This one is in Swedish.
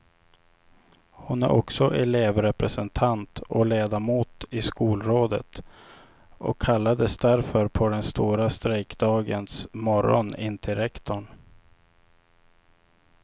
Hon är också elevrepresentant och ledamot i skolrådet och kallades därför på den stora strejkdagens morgon in till rektorn.